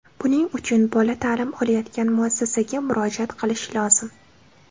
Buning uchun bola ta’lim olayotgan muassasaga murojaat qilish lozim.